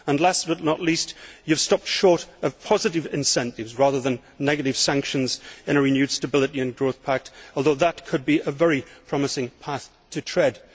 Last but not least, you have stopped short of positive incentives, rather than negative sanctions, in a renewed Stability and Growth Pact, although that could be a very promising path to tread.